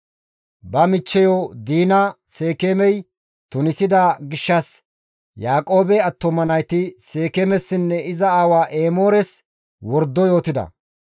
Ba michcheyo Diina Seekeemey tunisida gishshas Yaaqoobe attuma nayti Seekeemessinne iza aawa Emoores wordo yootida;